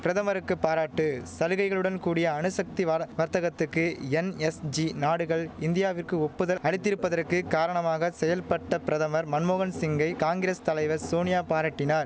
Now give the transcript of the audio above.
பிரதமருக்கு பாராட்டு சலுகைகளுடன் கூடிய அணுசக்தி வார வர்த்தகத்துக்கு என்எஸ்ஜி நாடுகள் இந்தியாவிற்கு ஒப்புதல் அளித்திருப்பதற்கு காரணமாக செயல்ப்பட்ட பிரதமர் மன்மோகன் சிங்கை காங்கிரஸ் தலைவர் சோனியா பாராட்டினார்